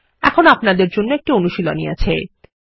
এখন আপনাদের জন্যএকটি অনুশীলনী আছে